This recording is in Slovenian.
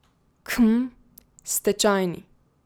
Khm, stečajni?